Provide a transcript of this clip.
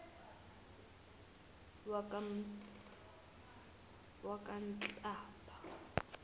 yakanhlaba